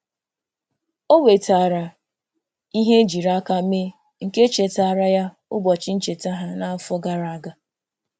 Ọ wetaara ihe ejiri aka mee nke chetaara ya ụbọchị ncheta ha na-afọ gara aga.